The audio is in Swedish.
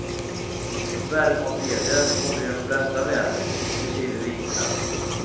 Nobelmatsedeln håller i de flesta väder, inklusive vinerna.